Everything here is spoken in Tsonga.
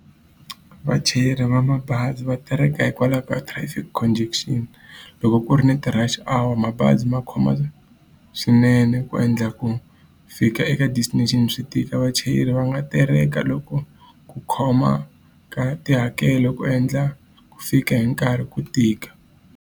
Vachayeri va mabazi va terheka hikwalaho ka traffic , Loko ku ri ni ti-rush hour mabazi ma khoma swinene ku endla ku fika eka destination swi tika. Vachayeri va nga tereka loko ku khoma ka tihakelo ku endla ku fika hi nkarhi ku tika.